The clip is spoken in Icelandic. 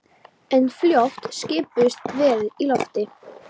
En fljótt skipuðust veður í lofti.